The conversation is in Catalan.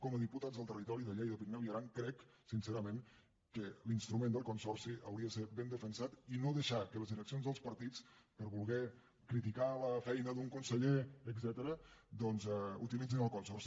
com a diputat del territori de lleida pirineu i aran crec sincerament que l’instrument del consorci hauria de ser ben defensat i no deixar que les direccions dels partits per voler criticar la feina d’un conseller etcètera doncs utilitzin el consorci